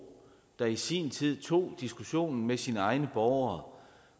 der i sin tid tog diskussionen med sine egne borgere